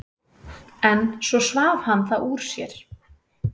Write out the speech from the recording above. En svo svaf hann það úr sér.